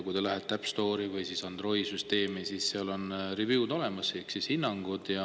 Kui te lähete App Store'i või siis Androidi süsteemi, siis seal on review'd ehk siis hinnangud.